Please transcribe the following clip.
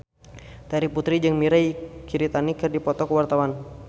Terry Putri jeung Mirei Kiritani keur dipoto ku wartawan